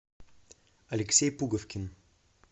алексей пуговкин